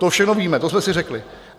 To všechno víme, to jsme si řekli.